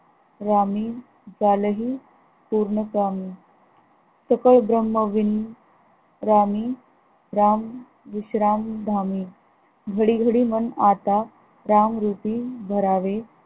रामी झाले हि पूर्ण कामी सुख भ्रमवीण रामी राम विश्राम, धामी घडी घडी मन आता राम रुपी धरावे